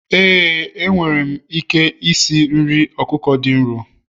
éè, enwere m ike esi nri ọkụkọ dị nro